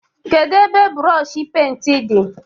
Kedụ brooshi pent di?